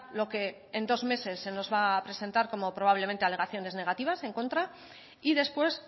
lo que en dos meses se nos va a presentar como probablemente alegaciones negativas en contra y después